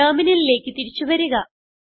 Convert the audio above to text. ടെർമിനലിലേക്ക് തിരിച്ചു വരിക